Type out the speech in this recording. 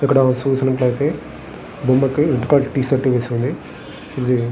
ఇక్కడ చూసినట్లయితే బొమ్మకి రెడ్ కలర్ టీ షర్టు వేసి ఉంది. ఇది --